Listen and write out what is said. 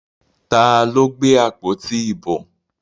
Ta ló gbé àpótí ìbò?